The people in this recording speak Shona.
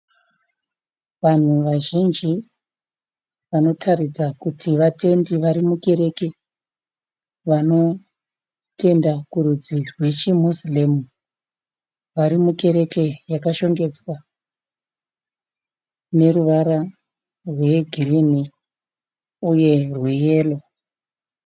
Vanhu vazhinji vanotaridza kuti vatendi vari mukereke vanotenda kurudzi rwechi "Muslim". Vari mukereke yakashongedzwa neruvara rwegirinhi uye rweyero.